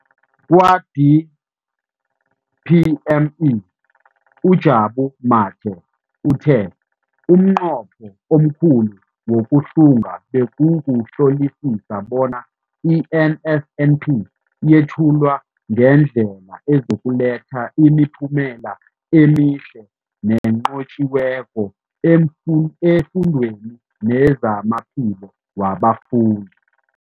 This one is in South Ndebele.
Kwa-DPME, uJabu Mathe, uthe umnqopho omkhulu wokuhlunga bekukuhlolisisa bona i-NSNP yethulwa ngendlela ezokuletha imiphumela emihle nenqotjhiweko efundweni nezamaphilo wabafundi.